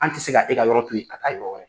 An tɛ se ka e ka yɔrɔ to ye ka taa yɔrɔ wɛrɛ